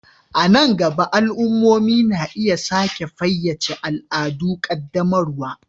A nan gaba, al'ummomi na iya sake fayyace al'adun ƙaddamarwa.